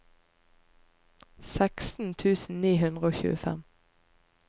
seksten tusen ni hundre og tjuefem